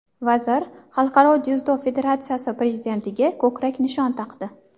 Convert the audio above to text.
Vazir Xalqaro dzyudo federatsiyasi prezidentiga ko‘krak nishon taqdi.